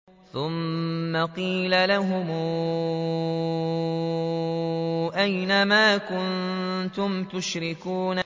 ثُمَّ قِيلَ لَهُمْ أَيْنَ مَا كُنتُمْ تُشْرِكُونَ